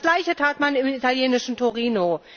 Das Gleiche tat man im italienischen Torino.